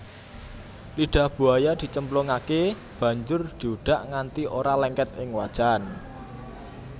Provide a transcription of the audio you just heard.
Lidah buaya dicemplungake banjur diudak nganti ora lengket ing wajan